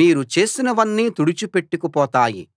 మీరు చేసినవన్నీ తుడిచిపెట్టుకు పోతాయి